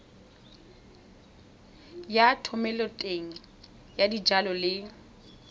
ya thomeloteng ya dijalo le